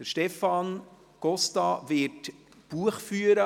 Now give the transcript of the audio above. Stefan Costa wird Buch führen.